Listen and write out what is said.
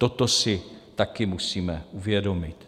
Toto si taky musíme uvědomit.